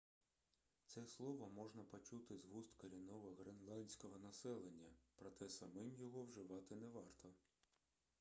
це слово можна почути з вуст корінного гренландського населення проте самим його вживати не варто